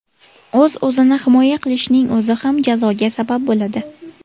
O‘z-o‘zini himoya qilishning o‘zi ham jazoga sabab bo‘ladi.